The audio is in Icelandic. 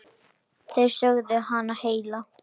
Þeir sögðu hana heila.